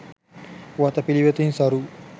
වතපිළිවෙතින් සරු